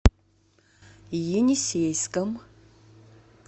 енисейском